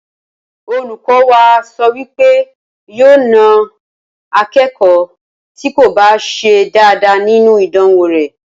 Olùkó wa so wí pé òun yóò na akékòó tí kò bá se dáadáa nínú ìdánwò rè